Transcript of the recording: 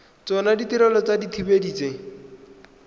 tsona ditirelo tsa dithibedi tse